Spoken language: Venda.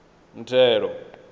muthelo